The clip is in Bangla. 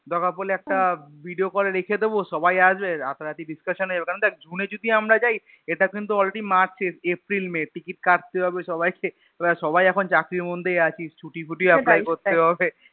দরকার পড়লে একটা Video call এ রেখে দিবো সবাই আসবে রাতারাতি Discussion এ কারণ দেখ June এ যদি আমরা যাই এটা কিন্তু Already march april may ticket কাটতে হবে সবাইকে এবার সবাই এখন চাকরির মধ্যে আছি ছুটি মুটি Apply করতে হবে